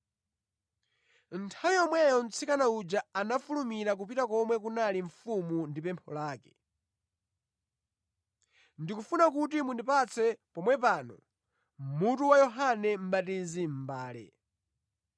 Nthawi yomweyo mtsikana uja anafulumira kupita komwe kunali mfumu ndi pempho lake: “Ndikufuna kuti mundipatse pomwe pano mutu wa Yohane Mʼbatizi mʼmbale.”